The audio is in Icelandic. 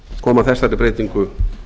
koma þessari breytingu